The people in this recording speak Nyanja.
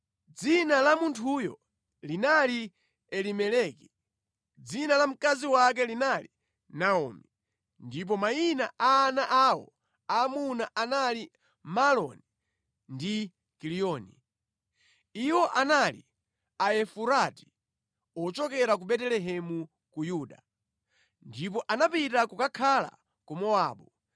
Dzina la munthuyo linali Elimeleki, dzina la mkazi wake linali Naomi, ndipo mayina a ana awo aamuna anali Maaloni ndi Kiliyoni. Iwo anali Aefurati ochokera ku Betelehemu ku Yuda. Ndipo anapita kukakhala ku Mowabu.